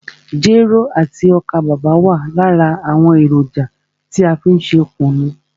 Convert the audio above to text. Jero àti ọ́kà bàbà wa lára àwọn èròjà tí a fí n ṣe kùnú.